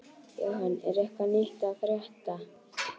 Jóhann, er eitthvað nýtt að frétta?